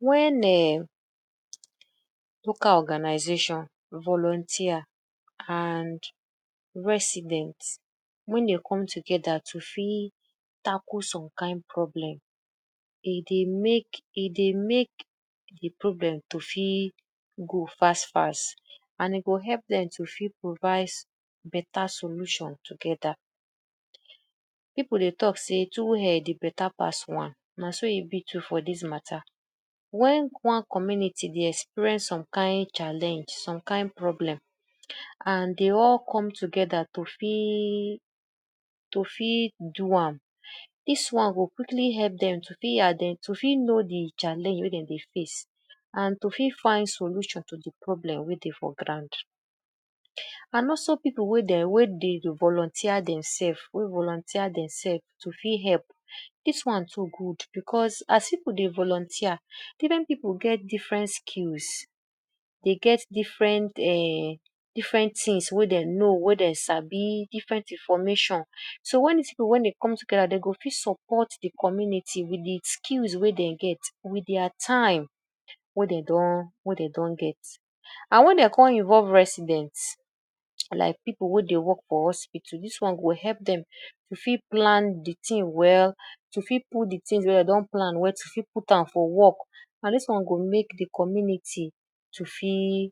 Wen um local organization, volunteer and resident, wen dem come together to fit tackle some kind problem, e dey mek e dey mek de problem to fit go fast fast and e go help dem to fit provides beta solution together. Pipu dey talk say two head, e beta pass one, na so e be too for dis mata. When one community dey experience some kind challenge, some kind problem and dey all come together to fit do am, dis one go quickly help dem to fit inden to fit know de challenge wen dem dey face and to fit find solution to de problem wen dey for ground and also people wey dem, wey dey volunteer demself who volunteer demself to fit help. Dis one too good because as pipu dey volunteer, different pipu get different skills. De get different um tins wey de know wey dem sabi, different information. So, wen dis pipu wen dem come together, dem go fit support de community with de skills wen dem get, with dia time wey dem don get and wen dem come involve resident, like pipu wen dey work for hospital, dis one go help dem to fit plan de tin well, to fit put de tins wey dem don plan, to fit put am for work and dis one go mek de community to fit,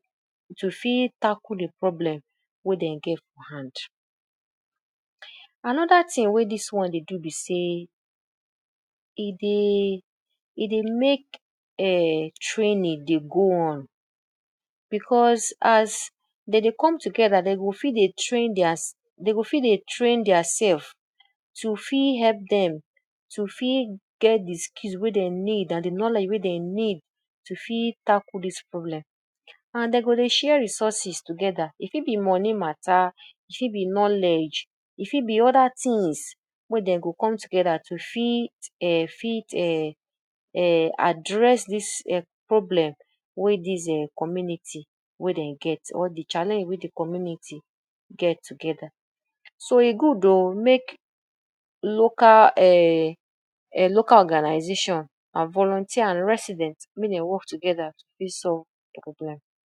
to fit tackle de problem wen dem get for hand. Another tin wey dis one dey do be say, e dey, e dey mek um training dey go on, because as de dey come together de go fit dey train diaself de go fit dey train diaself to fit help dem to fit get de skill wey dem need and de knowledge wey dem need to fit get de skill wey dem need and de knowledge wey dem need to fit tackle dis problem and dem go dey share resources together, e fit be money mata, e fit be knowledge, e fit be other tins wey dem go come together to fit um address dis problem wey dis um community wey dem get or de challenge de way de community get together. So, e good o mek local organization and volunteer and resident mek dem work together to fit solve de problem.